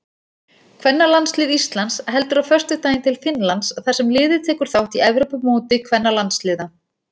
Kvennalandslið Íslands heldur á föstudaginn til Finnlands þar sem liðið tekur þátt í Evrópumóti kvennalandsliða.